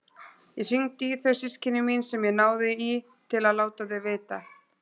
Ég hringdi í þau systkini mín sem ég náði í til að láta þau vita.